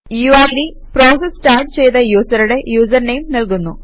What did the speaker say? UID process start ചെയ്ത യൂസറുടെ user name നല്കുന്നു